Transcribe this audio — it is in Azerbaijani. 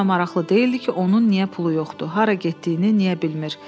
Heç kimə maraqlı deyildi ki, onun niyə pulu yoxdur, hara getdiyini niyə bilmir.